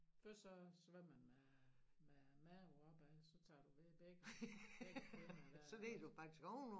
Først så svømmede man med maven op ad så tager du ved begge begge finner dér og så